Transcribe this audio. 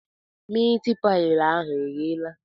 Miit paị ahụ egheela?